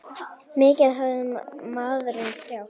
Mikið hafði maðurinn þjáðst.